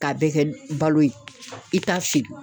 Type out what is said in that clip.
K'a bɛɛ kɛ balo ye i t'a feere